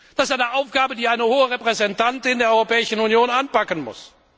Das ist eine Aufgabe, die eine Hohe Repräsentantin der Europäischen Union anpacken muss.